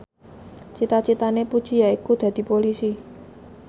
cita citane Puji yaiku dadi Polisi